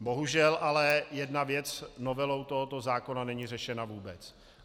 Bohužel ale jedna věc novelou tohoto zákona není řešena vůbec.